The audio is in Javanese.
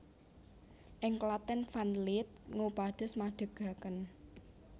Ing Klaten Van Lith ngupados madegaken